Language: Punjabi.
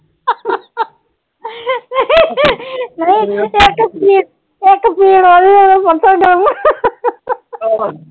ਨਹੀਂ ਇਕ ਪੀੜ ਹੋ ਜੇ ਤੇ ਉਹਦਾ ਪਾਸਾ ਗਰਮ